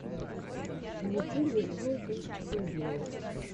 в ютюбе голдэнстюдио